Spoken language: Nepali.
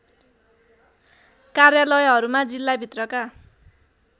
कार्यालयहरूमा जिल्लाभित्रका